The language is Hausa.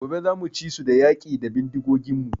Gobe zamu ci su da yaƙi da bindigogin mu